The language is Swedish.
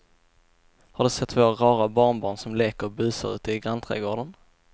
Har du sett våra rara barnbarn som leker och busar ute i grannträdgården!